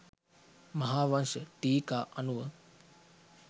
මහාවංශ ටීකා අනුව